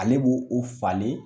Ale b'o o falen